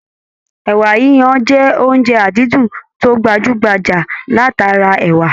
Ẹ̀wà yiyan jẹ́ oúnjẹ àdídùn tó gbajú-gbajà láti ara ẹ̀wà